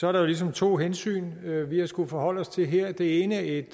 er der ligesom to hensyn vi vi har skullet forholde os til her det ene er et